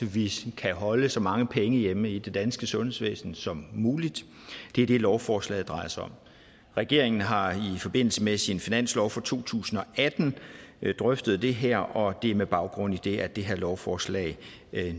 vi kan holde så mange penge hjemme i det danske sundhedsvæsen som muligt det er det lovforslaget drejer sig om regeringen har i forbindelse med sin finanslov for to tusind og atten drøftet det her og det er med baggrund i det at det her lovforslag